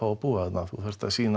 að búa þarna þú þarft að sýna